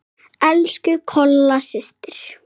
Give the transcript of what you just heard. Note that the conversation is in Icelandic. Elsku Kolla systir.